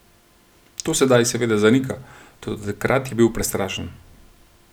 To sedaj seveda zanika, toda takrat je bil prestrašen.